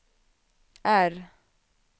R